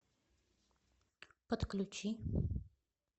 подключи